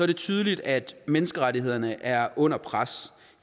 det tydeligt at menneskerettighederne er under pres